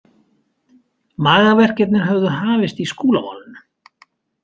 Magaverkirnir höfðu hafist í Skúlamálinu.